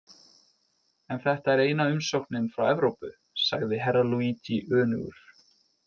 En þetta er eina umsóknin frá Evrópu, sagði Herra Luigi önugur.